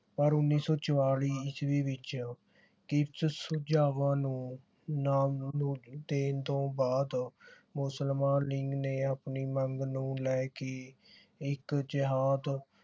ਪਰ ਉੱਨੀ ਸੌ ਚੁਆਲੀ ਇਸਵੀਂ ਵਿਚ ਕੀਪਸ ਸੁਝਾਵਾਂ ਨੂੰ ਨਾਮ ਦੇਣ ਤੋਂ ਬਾਅਦ ਮੁਸਲਮਾਨ ਲੀਗ ਨੇ ਆਪਣੀ ਮੰਗ ਨੂੰ ਲੈ ਕੇ ਇਕ ਜਿਹਾਦ